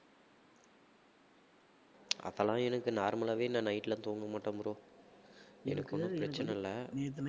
அதெல்லாம் எனக்கு normal லாவே நான் night லாம் தூங்க மாட்டேன் bro எனக்கு ஒண்ணும் பிரச்சனையில்ல